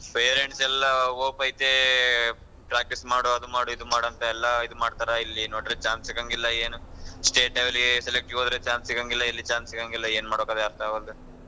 Parents ಎಲ್ಲ hope ಐತೆ practice ಮಾಡು ಅದು ಮಾಡು ಇದ್ ಮಾಡು ಅಂತೆಲ್ಲಾ ಇದ್ ಮಾಡ್ತಾರೆ ಇಲ್ಲಿ ನೋಡಿದ್ರ chance ಎ ಸಿಗಂಗಿಲ್ಲ ಏನು state level ಗೆ select ಗೆ ಹೋದ್ರೆ chance ಸಿಗಂಗಿಲ್ಲ ಇಲ್ chance ಸಿಗಂಗಿಲ್ಲ ಏನ್ ಮಾಡ್ಬೇಕೊ ಅರ್ಥ ಆಗ್ವಲ್ದು.